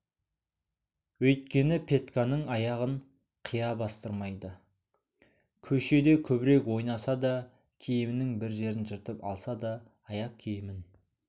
өйткені петьканың аяғын қия бастырмайды көшеде көбірек ойнаса да киімінің бір жерін жыртып алса да аяқ киімін